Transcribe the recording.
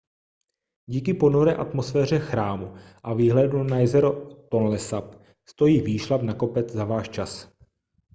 díky ponuré atmosféře chrámu a výhledu na jezero tonle sap stojí výšlap na kopec za váš čas